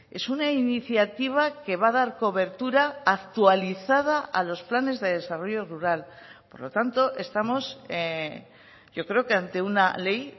es una iniciativa que va a dar cobertura actualizada a los planes de desarrollo rural por lo tanto estamos yo creo que ante una ley